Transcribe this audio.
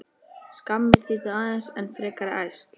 Skammir þýddu aðeins enn frekari ærsl.